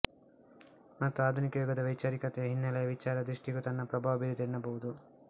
ಮತ್ತು ಆಧುನಿಕ ಯುಗದ ವೈಚಾರಿಕತೆಯ ಹಿನ್ನೆಲೆಯ ವಿಚಾರ ದೃಷ್ಟಿಗೂ ತನ್ನ ಪ್ರಭಾವ ಬೀರಿದೆ ಎನ್ನಬಹುದು